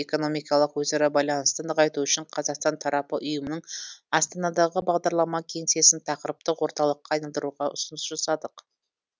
экономикалық өзара байланысты нығайту үшін қазақстан тарапы ұйымның астанадағы бағдарлама кеңсесін тақырыптық орталыққа айналдыруға ұсыныс жасадық